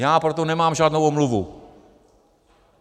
Já pro to nemám žádnou omluvu.